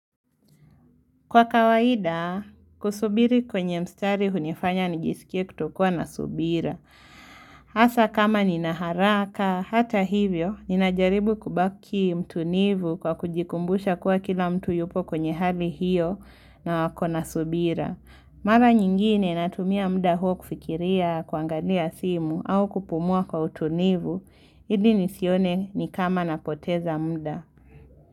Kwa kawaida, kusubiri kwenye mstari hunifanya nijisikie kutokuwa na subira. Asa kama nina haraka, hata hivyo, ninajaribu kubaki mtu nivu kwa kujikumbusha kwa kila mtu yupo kwenye hali hiyo na wako na subira. Mara nyingine natumia mda huo kufikiria, kuangalia simu au kupumua kwa utunivu, ili nisione ni kama napoteza mda.